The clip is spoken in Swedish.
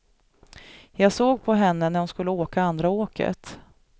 Jag såg på henne när hon skulle åka andra åket.